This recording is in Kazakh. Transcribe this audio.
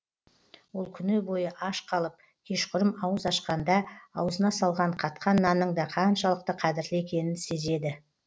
ол күні бойы аш қалып кешқұрым ауыз ашқанда аузына салған қатқан нанның да қаншалықты қадірлі екенін сезеді